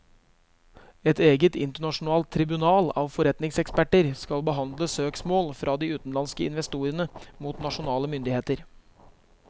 Et eget internasjonalt tribunal av forretningseksperter skal behandle søksmål fra de utenlandske investorene mot nasjonale myndigheter.